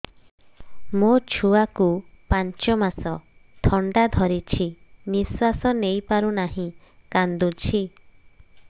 ମୋ ଛୁଆକୁ ପାଞ୍ଚ ମାସ ଥଣ୍ଡା ଧରିଛି ନିଶ୍ୱାସ ନେଇ ପାରୁ ନାହିଁ କାଂଦୁଛି